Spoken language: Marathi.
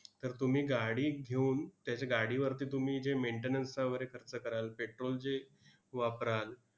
तर तुम्ही गाडी घेऊन त्याचे गाडीवरती तुम्ही जे maintenance चा वगैरे खर्च कराल, petrol जे वापराल,